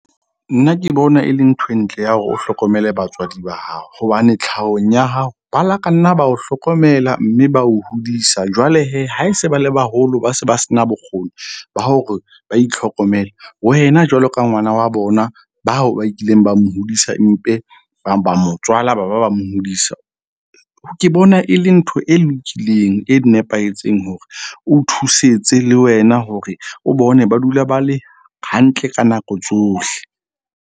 Nna ke bona e le nthwe ntle ya hore o hlokomele batswadi ba hao. Hobane tlhahong ya hao, bala ka nna ba o hlokomela mme ba o hodisa. Jwale ha e se ba le baholo, ba se ba se na bokgoni ba hore ba itlhokomele, wena jwalo ka ngwana wa bona ba hao ba kileng ba mo hodisa mpe ba ba motswala, ba ba ba mo hodisa. Ke bona e le ntho e lokileng e nepahetseng hore o thusetse le wena hore o bone ba dula ba le hantle ka nako tsohle.